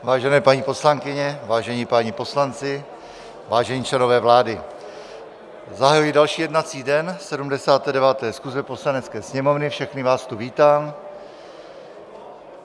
Vážené paní poslankyně, vážení páni poslanci, vážení členové vlády, zahajuji další jednací den 79. schůze Poslanecké sněmovny, všechny vás tu vítám.